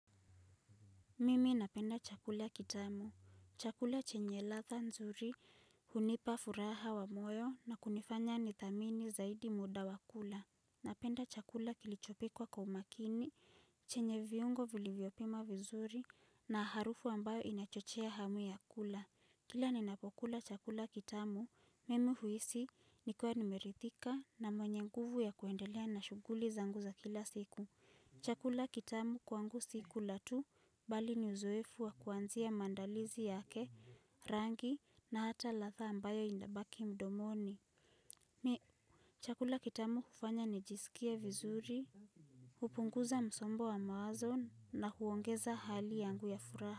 Mimi napenda chakula kitamu. Chakula chenye latha nzuri, hunipa furaha wa moyo na kunifanya ni thamini zaidi muda wa kula. Napenda chakula kilichopikwa kwa umakini, chenye viungo vilivyopimwa vizuri na harufu ambayo inachochea hamu ya kula. Kila ninapokula chakula kitamu, mimi huisi nikiwa nimerithika na mwenye nguvu ya kuendelea na shuguli zangu za kila siku. Chakula kitamu kwangu sikula tu bali ni uzoefu wa kuanzia maandalizi yake, rangi na hata latha ambayo inabaki mdomoni. Mi. Chakula kitamu hufanya ni jisikie vizuri, hupunguza msombo wa mawazo na huongeza hali yangu ya furaha.